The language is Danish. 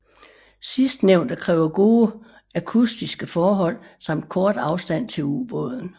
Sidstnævnte kræver gode akustiske forhold samt kort afstand til ubåden